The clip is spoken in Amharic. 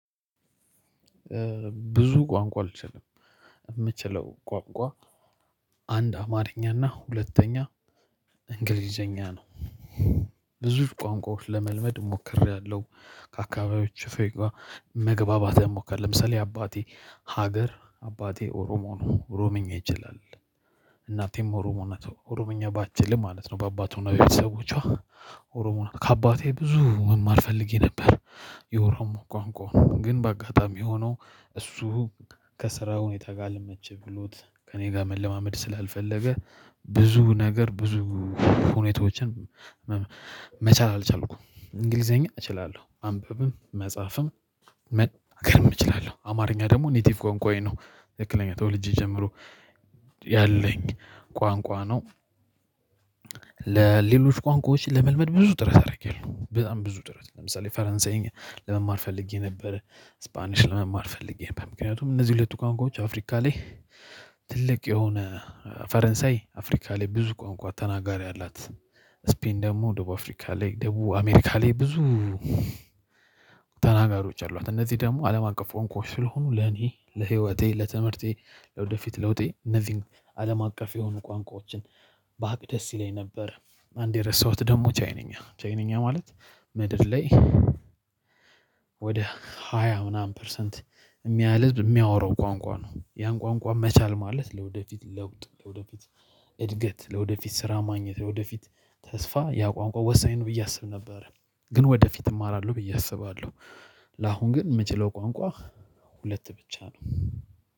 ብዙ ቋንቋ አልችልም የምችለው ቋንቋ አንድ አማርኛና ሁለተኛ እንግሊዘኛ ነው። ብዙ ቋንቋዎች ለመልመድ ሞክሬያለሁ። ከአካባቢዎች ሰዎች ጋር መግባባት እሞክራለሁ ለምሳሌ አባቴ ሀገር አባቴ ኦሮሞ ነው ሮምኛ ይችላል። እናቴም ኦሮሞነቱ ኦሮምኛ ባትችል ማለት ነው በአባቱ ነገር ሰዎች ኦሮሞና ከአባቴ ብዙ መማል ፈልጌ ነበር። የኦሮሞ ቋንቋ ግን በአጋጣሚ ሆኖ እሱ ከስራው ሁኔታ ጋር አለመች ብሎት ከእኔ ጋር መለማመድ ስላልፈለገ ብዙ ነገር ብዙ ሁኔታዎችን መቻል አልቻልኩም። እንግሊዘኛ እችላለሁ ማንበብም መጻፍም መናገርም እችላለሁ። አማርኛ ደግሞ ኔቲቭ ቆንቋዬ ነው ትከክለኛ ተወልጄ ጀምሮ ያለኝ ቋንቋ ነው። ለሌሎች ቋንቋዎች ለመልመድ ብዙ ጥረት አደርጋለሁ በጣም ብዙ ጥረት ለምሳሌ ፈረንሳይኛ ለመማር ፈልጌ ነበር። ስፓኒሽ ለመማር ፈልጌ በምክንያቱም እነዚህ ሁለቱ ቋንቋዎች አፍሪካ ላይ ትልቅ የሆነ ፈረንሳይ አፍሪካ ላይ ብዙ ቋንቋ ተናጋሪ አላት ስፔን ደግሞ ደቡብ አፍሪካ ላይ ደቡብ አሜሪካ ላይ ብዙ ተናጋሪዎች አሏት። እነዚህ ደግሞ አለም አቀፍ ቋንቋዎች ስለሆኑ ለኔ ለህይወቴ ለትምህርቴ ወደፊት ለውጤ እነዚህን አለም አቀፍ የሆኑ ቋንቋዎችን በአቅ ደስ ይለኝ ነበር። አንዴ ረሳሁት ደግሞ ቻይንኛ ቻይንኛ ማለት ምድር ላይ ወደ ሃያ ምናምን ፐርሰንት የሚያህል ህዝብ የሚያወራው ቋንቋ ነው። ያን ቋንቋ መቻል ማለት ለወደፊት ለውጥ ለወደፊት እድገት ለወደፊት ስራ ማግኘት ለወደፊት ተስፋ ያ ቋንቋ ወሳኝ ነው ብዬ አስብ ነበር። ግን ወደፊት እማራለሁ ብዬ አስባለሁ። ለአሁን ግን የምችለው ቋንቋ ሁለት ብቻ ነው።